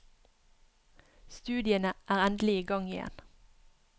Studiene er endelig i gang igjen.